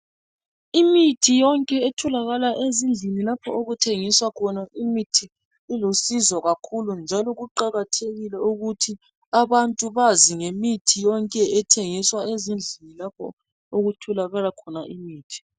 Imithi yonke etholakala ezindlini lapho okuthengiswa khona imithi ilusizo kakhulu njalo kuqakathekile ukuthi abantu bazi ngemithi yonke ethengiswa ezindlini lapho okuthokala imithi.